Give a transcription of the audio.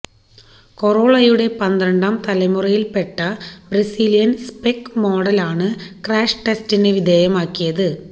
കൊറോളയുടെ പന്ത്രണ്ടാം തലമുറയില്പ്പെട്ട Brazilian spec മോഡലാണ് ക്രാഷ് ടെസ്റ്റിന് വിധേയമാക്കിയത്